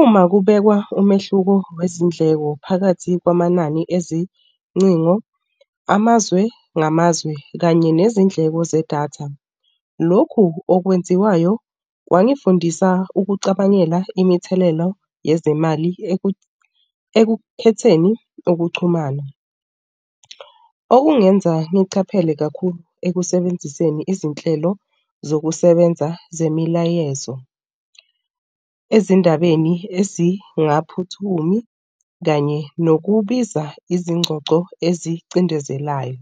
Uma kubekwa umehluko wezindleko phakathi kwamanani ezincingo amazwe namazwe kanye nezindleko zedatha. Lokhu okwenziwayo kwangifundisa ukucabangela imithelelo yezemali ekukhetheni okuxhumana, Okungenza ngichaphele kakhulu ekusebenziseni izinhlelo zokusebenza zemilayezo ezindabeni ezingaphuthumi, kanye nokubiza izingxoxo ezicindezelayo.